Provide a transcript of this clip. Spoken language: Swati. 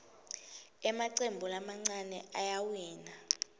emacembu lamancane ayawina